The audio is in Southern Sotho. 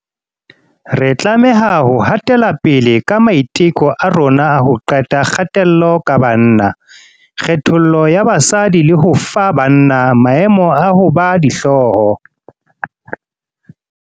Re tlameha ho hatelapele ka maiteko a rona a ho qeta kgatello ka banna, kgethollo ya basadi le ho fa banna maemo a ho ba dihloho.